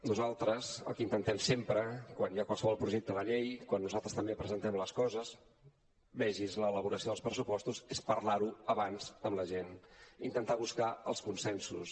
nosaltres el que intentem sempre quan hi ha qualsevol projecte de llei quan nosaltres també presentem les coses vegi’s l’elaboració dels pressupostos és parlar ho abans amb la gent intentar buscar els consensos